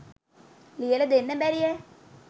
ලියල දෙන්න බැරියැ.